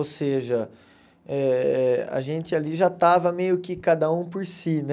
Ou seja, eh a gente ali já estava meio que cada um por si, né?